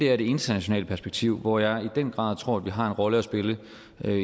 er det internationale perspektiv hvor jeg i den grad tror vi har en rolle at spille